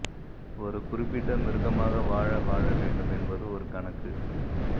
ஒரு குறிப்பிட்ட மிருகமாக வாழ வாழ வேண்டும் என்பது ஒரு கணக்கு